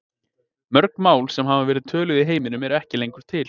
Mörg mál sem hafa verið töluð í heiminum eru ekki lengur til.